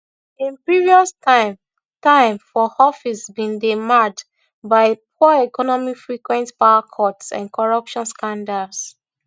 im previous time time for office bin dey marred by poor economy frequent powercuts and corruption scandals